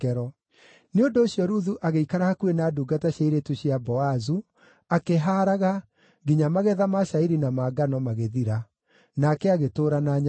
Nĩ ũndũ ũcio Ruthu agĩikara hakuhĩ na ndungata cia airĩtu cia Boazu akĩhaaraga nginya magetha ma cairi na ma ngano magĩthira. Nake agĩtũũra na nyaciarawe.